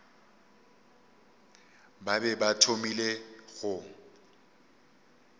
ba be ba thomile go